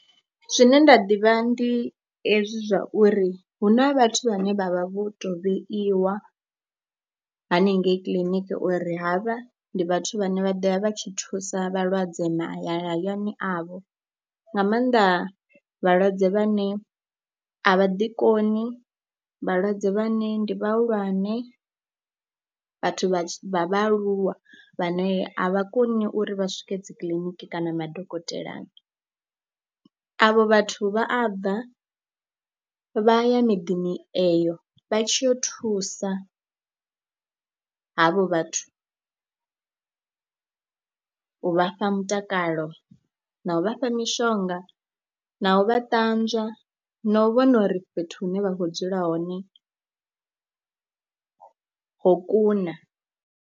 Zwine nda ḓivha ndi hezwi zwa uri hu na vhathu vhane vha vha vho tou vheiwa hanengei kiḽiniki uri havha ndi vhathu vhane vha ḓo ya vha tshi thusa vhalwadze mahayani avho, nga maanḓa vhalwadze vhane a vha ḓikoni, vhalwadze vhane ndi vhahulwane, vhathu vha vhaaluwa vhane a vha koni uri vha swike dzikiḽiniki kana madokotelani. Avho vhathu vha a bva vha ya miḓini eyo vha tshi yo thusa havho vhathu u vha fha mutakalo na u vha fha mishonga na u vha ṱanzwa na u vhona uri fhethu hune vha khou dzula hone ho kuna.